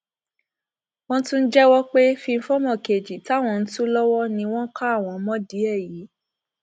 wọn tún jẹwọ pé fíńfọmọ kejì táwọn ń tù lọwọ ni wọn ka àwọn mọdìí ẹ yìí